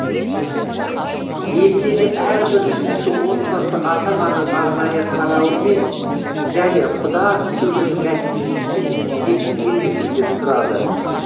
елдегі әрбір үшінші отбасы ата ананың арнайы қарауымен және құда түсудің нәтижесінде дүниеге келген некеден тұрады